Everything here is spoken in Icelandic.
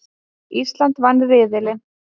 Ísland vann riðilinn